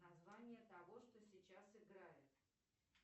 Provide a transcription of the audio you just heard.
название того что сейчас играет